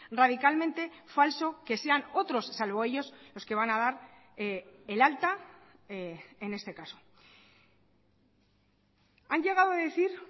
radicalmente falso que sean otros salvo ellos los que van a dar el alta en este caso han llegado a decir